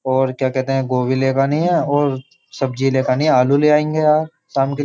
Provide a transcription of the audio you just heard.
और क्या कहते है? गोभी लेकानी है और सब्जी लेकानी है और आलू ले आएँगे यार। शाम के लि --